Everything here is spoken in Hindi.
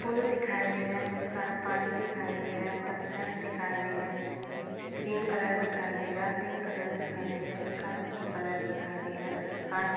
पूल दिखाई दे रहा है बहुत सारा पानी दिखाई दे रहा है पत्थर्स दिखाई दे रहे है एक ग्रीन कलर दिखाई दे रहा पिंक कलर दिखाई दे रहा है स्काइ ब्लू कलर दिखाई दे रहा है। आस--